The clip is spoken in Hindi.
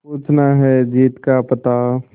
पूछना है जीत का पता